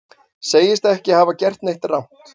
Segist ekki hafa gert neitt rangt